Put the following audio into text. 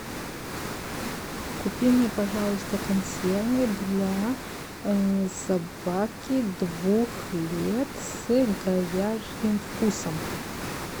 купи мне пожалуйста консервы для собаки двух лет с говяжьим вкусом